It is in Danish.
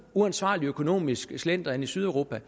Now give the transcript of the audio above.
uansvarlig økonomisk slendrian i sydeuropa